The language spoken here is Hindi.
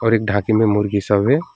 और एक ढाबे में मुर्गी सब है।